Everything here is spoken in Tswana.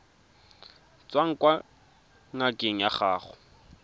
tswang kwa ngakeng ya gago